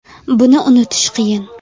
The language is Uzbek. Buni unutish qiyin.